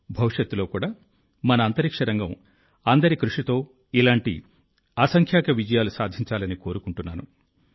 భవిష్యత్తులో కూడా మన అంతరిక్ష రంగం అందరి కృషితో ఇలాంటి అసంఖ్యాక విజయాలు సాధించాలని కోరుకుంటున్నాను